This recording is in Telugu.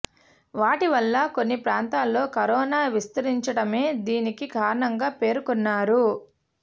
వాటి వల్ల కొన్ని ప్రాంతాల్లో కరోనా విస్తరించటమే దీనికి కారణంగా పేర్కొన్నారు